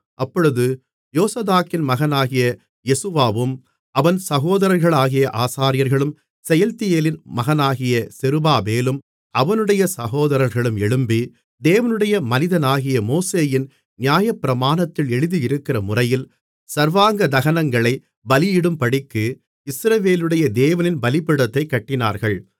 அப்பொழுது யோசதாக்கின் மகனாகிய யெசுவாவும் அவன் சகோதரர்களாகிய ஆசாரியர்களும் செயல்தியேலின் மகனாகிய செருபாபேலும் அவனுடைய சகோதரர்களும் எழும்பி தேவனுடைய மனிதனாகிய மோசேயின் நியாயப்பிரமாணத்தில் எழுதியிருக்கிறமுறையில் சர்வாங்கதகனங்களைப் பலியிடும்படிக்கு இஸ்ரவேலுடைய தேவனின் பலிபீடத்தைக் கட்டினார்கள்